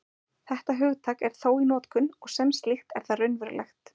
Þetta hugtak er þó í notkun, og sem slíkt er það raunverulegt.